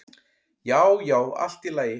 Já, já, allt í lagi